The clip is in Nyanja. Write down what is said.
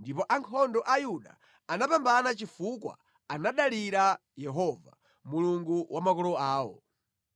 ndipo ankhondo a Yuda anapambana chifukwa anadalira Yehova, Mulungu wa makolo awo.